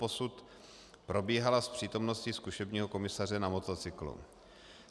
Doposud probíhala s přítomností zkušebního komisaře na motocyklu.